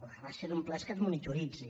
la gràcia d’un pla és que es monitoritzi